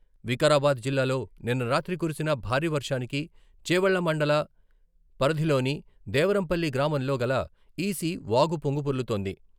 వికారాబాద్ జిల్లాలో నిన్న రాత్రి కురిసిన భారీ వర్షానికి చేవెళ్ల మండల పరిధిలోని దేవరంపల్లి గ్రామంలో గల ఈసీ వాగు పొంగిపొర్లుతోంది.